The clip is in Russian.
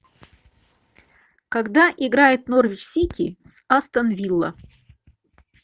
когда играет норвич сити с астон вилла